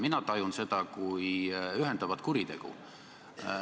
Mina tajun seda kui ühendavat kuritegu.